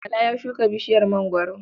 Bala ya shuka bishiyar mangwaro.